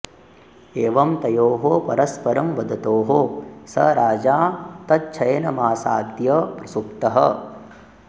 एवं तयोः परस्परं वदतोः स राजा तच्छयनमासाद्य प्रसुप्तः